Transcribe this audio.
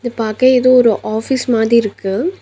இது பாக்க ஏதோ ஒரு ஆஃபீஸ் மாதி இருக்கு.